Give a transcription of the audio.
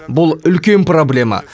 бұл үлкен проблема